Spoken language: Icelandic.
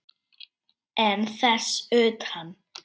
En þess utan?